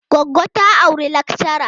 Goggo ta auri lakchara.